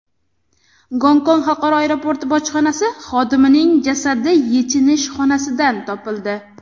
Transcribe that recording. Gongkong xalqaro aeroporti bojxonasi xodimining jasadi yechinish xonasidan topildi.